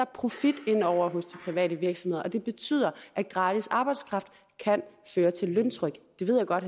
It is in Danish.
profit inde over hos de private virksomheder det betyder at gratis arbejdskraft kan føre til løntryk det ved jeg godt